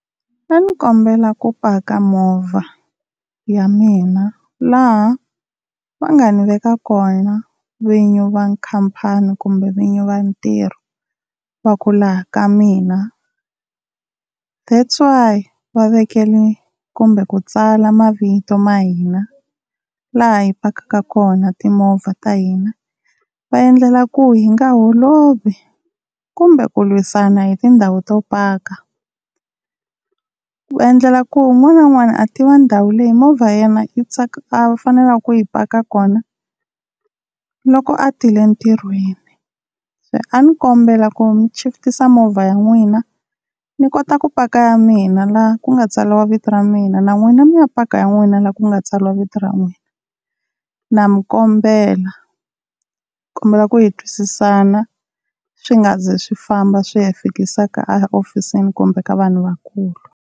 A ni kombela ku paka movha ya mina laha va nga ni veka kona vinyi va khampani kumbe vinyi va ntirho, va ku laha ka mina, that's why va vekele kumbe ku tsala mavito ma hina laha hi pakaka kona timovha ta hina, va endlela ku hi nga holovi kumbe ku lwisana hi tindhawu to paka ku endlela ku un'wana na un'wana a tiva ndhawu leyi movha ya yena yi a faneleke ku yi paka kona loko a tile ntirhweni. Se a ni kombela ku mi chifitisa movha ya n'wina ni kota ku paka ya mina laha ku nga tsariwa vito ra mina na n'wina mi ya paka ya n'wina laha ku nga tsariwa vito ra n'wina na mi kombela. Nikombela ku hi twisisana swi nga zi swi famba swi ya hi fikisa ka ehofisini kumbe ka vanhu vakulu.